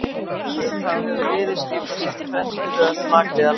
síðan þá hefur liðið skipað sér í fremstu röð blakliða landsins